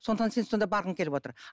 сондықтан сен сонда барғың келіп отыр